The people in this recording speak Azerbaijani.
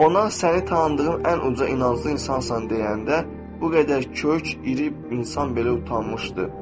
Ona səni tanıdığım ən uca inanclı insansan deyəndə bu qədər kök, iri insan belə utanmışdı.